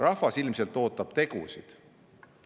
Rahvas ilmselt ootab tegusid.